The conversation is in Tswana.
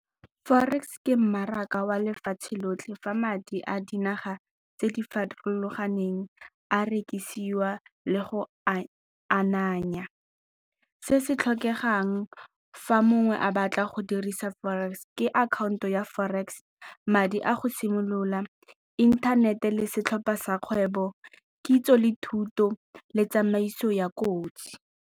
Forex ke mmaraka wa lefatshe lotlhe fa madi a dinaga tse di farologaneng a rekisiwa le go a ananya. Se se tlhokegang fa mongwe a batla go dirisa forex ke akhaonto ya forex, madi a go simolola, inthanete le setlhopha sa kgwebo, kitso le thuto le tsamaiso ya kotsi.